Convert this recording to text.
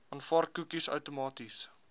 aanvaar koekies outomaties